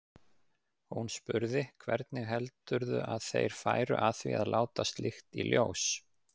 Hún spurði: Hvernig heldurðu að þeir færu að því að láta slíkt í ljós?